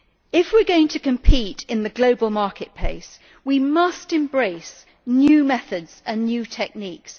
If we are going to compete in the global marketplace we must embrace new methods and new techniques.